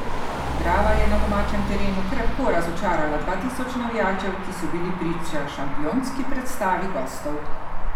Drava je na domačem terenu krepko razočarala dva tisoč navijačev, ki so bili priča šampionski predstavi gostov.